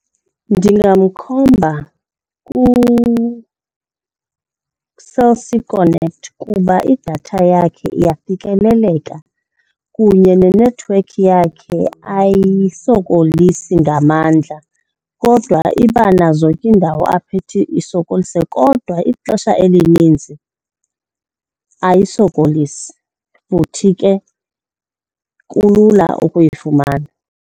Ndingamkhomba kuCell C Connect kuba idatha yakhe iyafikeleleka kunye nenethiwekhi yakhe ayisokolisi ngamandla kodwa iba nazo ke iindawo apho ithi isokolise. Kodwa ixesha elininzi ayisokolisi futhi ke kulula ukuyifumana.